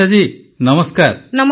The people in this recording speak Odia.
ଶିରିଷା ଜୀ ନମସ୍କାର